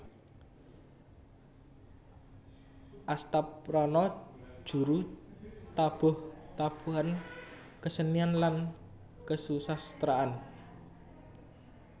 Astaprana Juru tabuh tabuhan kesenian lan kesusasteraan